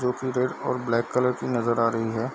जो की रेड और ब्लैक कलर की नजर आ रही है।